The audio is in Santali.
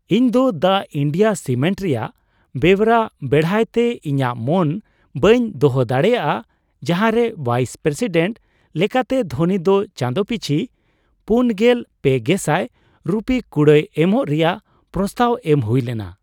ᱤᱧ ᱫᱚ ᱫᱟ ᱤᱱᱰᱤᱭᱟ ᱥᱤᱢᱮᱱᱴ ᱨᱮᱭᱟᱜ ᱵᱮᱣᱨᱟ ᱵᱮᱲᱦᱟᱭᱛᱮ ᱤᱧᱟᱹᱜ ᱢᱚᱱ ᱵᱟᱹᱧ ᱫᱚᱦᱚ ᱫᱟᱲᱮᱭᱟᱜᱼᱟ ᱡᱟᱦᱟᱸᱨᱮ ᱵᱷᱟᱭᱤᱥᱼᱯᱨᱮᱥᱤᱰᱮᱱᱴ ᱞᱮᱠᱟᱛᱮ ᱫᱷᱳᱱᱤ ᱫᱚ ᱪᱟᱸᱫᱚ ᱯᱤᱪᱷᱤ ᱔᱓,᱐᱐᱐ ᱨᱩᱯᱤ ᱠᱩᱲᱟᱹᱭ ᱮᱢᱚᱜ ᱨᱮᱭᱟᱜ ᱯᱨᱚᱥᱛᱟᱵᱽ ᱮᱢ ᱦᱩᱭ ᱞᱮᱱᱟ ᱾